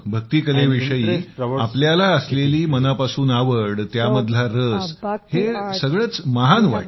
भक्ती कलेविषयी तुम्हाला असलेली मनापासून आवड त्यामधला रस हे सगळंच महान वाटतंय